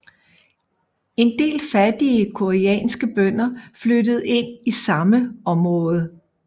En del fattige koreanske bønder flyttede ind i samme område